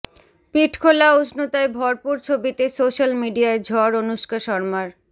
পিঠখোলা উষ্ণতায় ভরপুর ছবিতে সোশ্যাল মিডিয়ায় ঝড় অনুষ্কা শর্মার